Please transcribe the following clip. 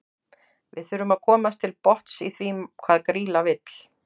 Við þurfum að komast til botns í því hvað Grýla vill.